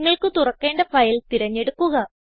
നിങ്ങൾക്ക് തുറക്കേണ്ട ഫയൽ തിരഞ്ഞെടുക്കുക